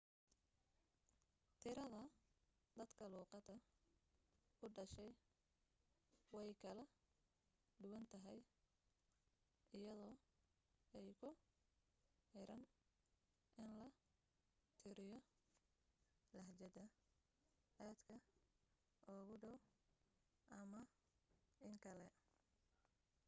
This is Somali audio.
tirada dadka luuqadda u dhashay way kala duwan tahay iyadoo ay ku xiran in la tiriyo lahjadaha aadka ugu dhow ama in kale